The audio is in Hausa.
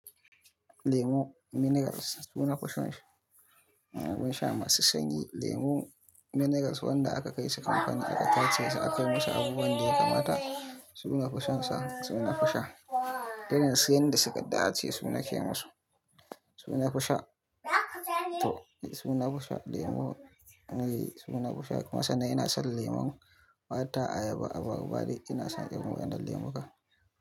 Lemu minerals suna fison abun sha masu sanyi. Lemu minerals wanda aka kai shi kamfanin da aka tace shi, aka yi masa abubuwan da ya kamata suna fushon sa, suna fusha. Daren siyan da suka dace suna kema su, suna fusha. To suna fusha lemu, suna fusha. Kuma sannan ina san lemon mata ayaba a barba, ina shan irin wannan lemon ka.